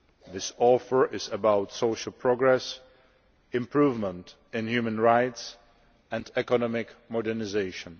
This offer is about social progress, improvement in human rights and economic modernisation.